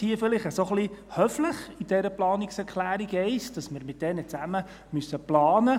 Dies steht in dieser Planungserklärung 1 vielleicht ein wenig höflich, dass wir mit diesen zusammen planen müssen.